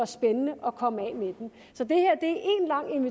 spændende at komme af med den